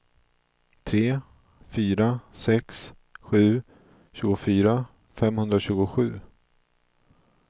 tre fyra sex sju tjugofyra femhundratjugosju